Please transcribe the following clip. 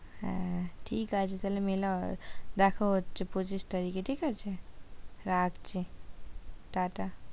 হ্যাঁ ঠিক আছে, তাহলে দেখা হচ্ছে পঁচিশ তারিখে ঠিক আছে রাখছি টাটা